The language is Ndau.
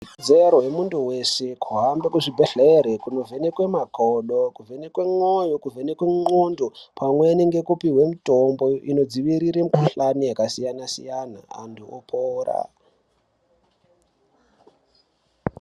Ikodzero yemuntu weshe kuhambe kuzvibhedhlera kuvhenekwe makodo kuvhenekwa mwoyo kuvhenekwa ngonxo pamweni nekupihwa mutombo inodzivirirai mikuhlani yakasiyana siyana vantu vopora.